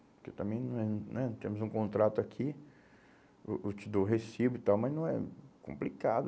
Porque também, não é, né, temos um contrato aqui, eu eu te dou o recibo e tal, mas não é, complicado.